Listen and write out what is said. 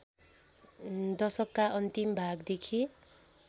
दशकका अन्तिम भागदेखि